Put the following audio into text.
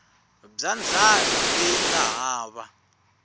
bya ndzhaka leyi nga hava